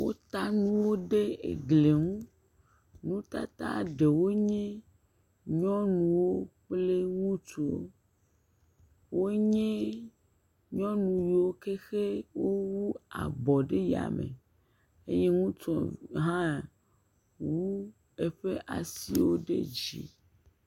Wota nuwo ɖe egliŋu. Nutata ɖewo nye nyɔnuwo kple ŋutsuwo. Wonye nyɔnuwo ke he ne wowu abɔ ɖe yame. Eye ŋutsu hã wu eƒeƒ asiwo ɖe dzi.